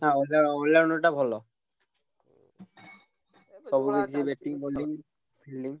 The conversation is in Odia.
ହଁ ଅ all-rounder ଟା ଭଲ। ସବୁ batting bowling